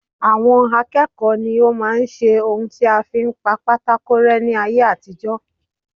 Àwọn akẹ́kọ̀ọ́ ní o máa ń ṣe ohun tí a fi ń pa pátákó rẹ́ ní ayé àtijó.